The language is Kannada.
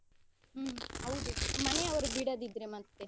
ಹ್ಮ್ ಹೌದು ಮನೆಯವರು ಬಿಡದಿದ್ರೆ ಮತ್ತೆ.